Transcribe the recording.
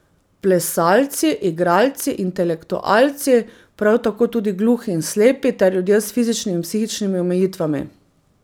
Plesalci, igralci, intelektualci, prav tako tudi gluhi in slepi ter ljudje s fizičnimi in psihičnimi omejitvami.